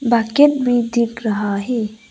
Bucket भी दिख रहा है।